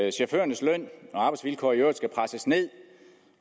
at chaufførernes løn og arbejdsvilkår i øvrigt skal presses ned